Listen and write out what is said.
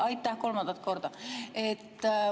Aitäh, kolmandat korda!